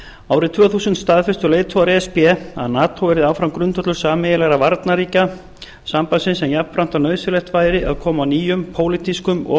árið tvö þúsund staðfestu leiðtogar e s b að nato yrði áfram grundvöllur sameiginlegrar varnarrikja sambandsins en jafnframt var nauðsynlegt bæði að koma á nýjum pólitískum og